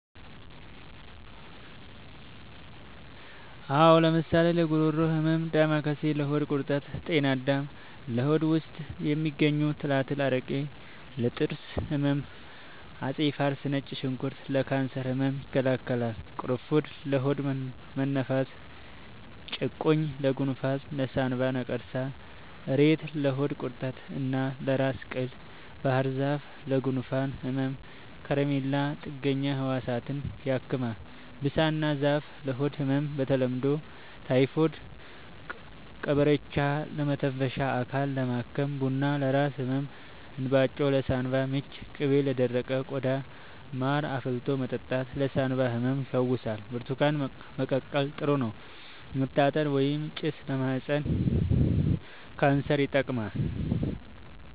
አዎ ለምሳሌ ለጉሮሮ ህመም ዳማከሴ ለሆድ ቁርጠት ጤና አዳም ለሆድ ውስጥ የሚገኙ ትላትል አረቄ ለጥርስ ህመም አፄ ፋሪስ ነጭ ሽንኩርት ለካንሰር ህመም ይከላከላል ቁሩፉድ ለሆድ መነፋት ጭቁኝ ለጎንፋን ለሳንባ ነቀርሳ እሬት ለሆድ ቁርጠት እና ለራስ ቅል ባህርዛፍ ለጉንፋን ህመም ኮረሪማ ጥገኛ ህዋሳትን ያክማል ብሳና ዛፍ ለሆድ ህመም በተለምዶ ታይፎድ ቀበርቿ ለመተንፈሻ አካልን ለማከም ቡና ለራስ ህመም እንባጮ ለሳንባ ምች ቅቤ ለደረቀ ቆዳ ማር አፍልቶ መጠጣት ለሳንባ ህመም ይፈውሳል ብርቱካን መቀቀል ጥሩ ነው መታጠን ወይባ ጭስ ለማህፀን ካንሰር ይጠቅማል